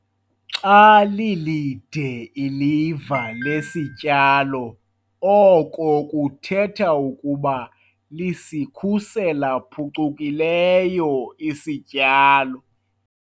Xa lilide iliva lesityalo oko kuthetha ukuba lisikhusela phucukileyo isityalo.